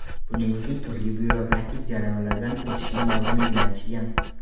Buning uchun turli byurokratik jarayonlardan o‘tishim lozimligini aytishgan.